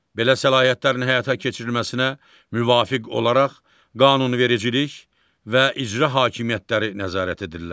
Belə səlahiyyətlərin həyata keçirilməsinə müvafiq olaraq qanunvericilik və icra hakimiyyətləri nəzarət edirlər.